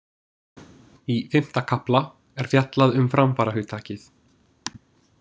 Í fimmta kafla er fjallað um framfarahugtakið.